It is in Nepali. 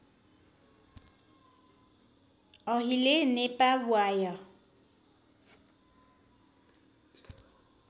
अहिले नेपाव्वाय